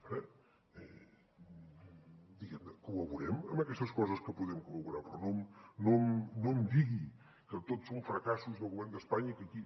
ara col·laborem amb aquestes coses que podem col·laborar però no em digui que tots són fracassos del govern d’espanya i que aquí